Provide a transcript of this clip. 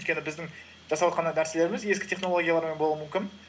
өйткені біздің жасаватқан нәрселеріміз ескі технологиялармен болуы мүмкін